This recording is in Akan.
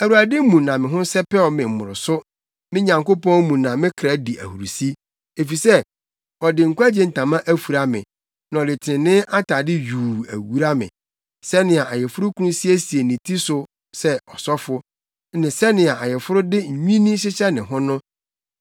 Awurade mu na me ho sɛpɛw me mmoroso, me Nyankopɔn mu na me kra di ahurusi. Efisɛ, ɔde nkwagye ntama afura me na ɔde trenee atade yuu awura me, sɛnea ayeforokunu siesie me ti so sɛ ɔsɔfo, ne sɛnea ayeforo de nnwinne hyehyɛ ne ho no.